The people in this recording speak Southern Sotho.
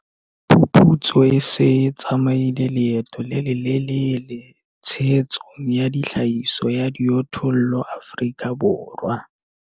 Phuputso e se e tsamaile leeto le le lelele tshehetsong ya tlhahiso ya dijothollo Afrika Borwa.